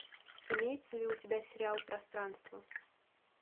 имеется ли у тебя сериал пространство